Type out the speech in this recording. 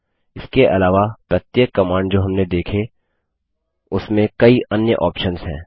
इसके अलावा प्रत्येक कमांड जो हमने देखी उसमें कई अन्य ऑप्शन्स हैं